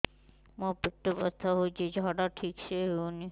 ମୋ ପେଟ ବଥା ହୋଉଛି ଝାଡା ଠିକ ସେ ହେଉନି